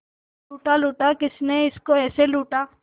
लूटा लूटा किसने उसको ऐसे लूटा